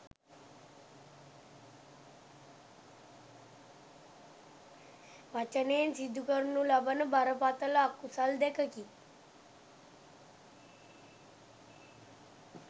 වචනයෙන් සිදු කරනු ලබන බරපතළ අකුසල් දෙකකි.